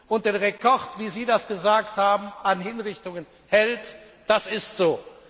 und das den Rekord wie Sie das gesagt haben an Hinrichtungen hält, das ist so.